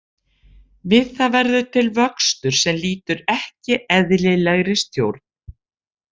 Við það verður til vöxtur sem lýtur ekki eðlilegri stjórn.